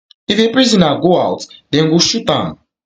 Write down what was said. if a prisoner got got out dem go shoot am